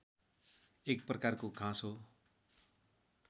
एक प्रकारको घाँस हो